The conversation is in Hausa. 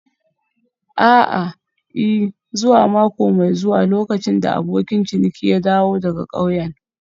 A'a, I. zuwa mako mai zuwa lokacin da abokin ciniki ya dawo daga ƙauyen.